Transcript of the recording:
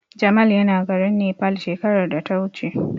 Jamal yana garin Nepal shekarar da ta wuce.